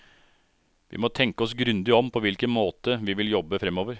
Vi må tenke oss grundig om på hvilken måte vi vil jobbe framover.